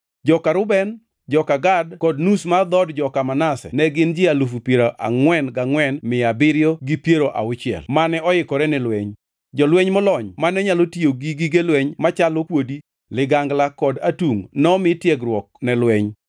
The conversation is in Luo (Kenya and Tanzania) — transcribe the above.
Joka Reuben, joka Gad kod nus mar dhood joka Manase ne gin ji alufu piero angʼwen gangʼwen mia abiriyo gi piero auchiel (44,760) mane oyikore ni lweny. Jolweny molony mane nyalo tiyo gi gige lweny machalo kuodi, ligangla kod atungʼ, nomi tiegruok ne lweny.